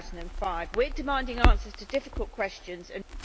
2005. We are demanding answers to difficult questions and